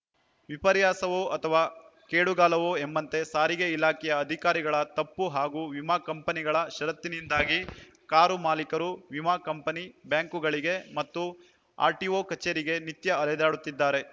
ವಿಪರ್ಯಾಸವೋ ಅಥವಾ ಕೇಡುಗಾಲವೋ ಎಂಬಂತೆ ಸಾರಿಗೆ ಇಲಾಖೆಯ ಅಧಿಕಾರಿಗಳ ತಪ್ಪು ಹಾಗೂ ವಿಮಾ ಕಂಪನಿಗಳ ಷರತ್ತಿನಿಂದಾಗಿ ಕಾರು ಮಾಲಿಕರು ವಿಮಾ ಕಂಪನಿ ಬ್ಯಾಂಕ್‌ಗಳಿಗೆ ಮತ್ತು ಆರ್‌ಟಿಒ ಕಚೇರಿಗೆ ನಿತ್ಯ ಅಲೆದಾಡುತ್ತಿದ್ದಾರೆ